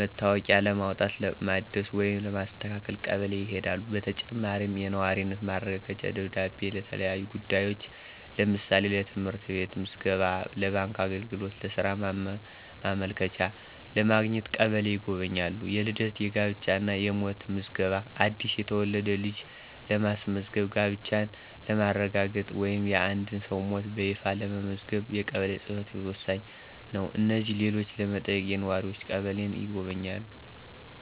መታወቂያ ለማውጣት፣ ለማደስ ወይም ለማስተካከል ቀበሌ ይሄዳሉ። በተጨማሪም፣ የነዋሪነት ማረጋገጫ ደብዳቤ ለተለያዩ ጉዳዮች (ለምሳሌ: ለትምህርት ቤት ምዝገባ፣ ለባንክ አገልግሎት፣ ለሥራ ማመልከቻ) ለማግኘት ቀበሌን ይጎበኛሉ። * የልደት፣ የጋብቻ እና የሞት ምዝገባ: አዲስ የተወለደ ልጅን ለማስመዝገብ፣ ጋብቻን ለማረጋገጥ ወይም የአንድን ሰው ሞት በይፋ ለማስመዝገብ የቀበሌ ጽ/ቤት ወሳኝ ነው። እነዚህንና ሌሎችን ለመጠየቅ ነዋሪዎች ቀበሌን ይጎበኛሉ።